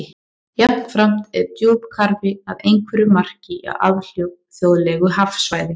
Jafnframt er djúpkarfi að einhverju marki á alþjóðlegu hafsvæði.